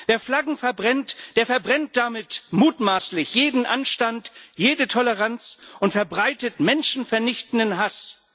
Wer Flaggen verbrennt, der verbrennt damit mutmaßlich jeden Anstand, jede Toleranz, und verbreitet menschenvernichtenden Hass.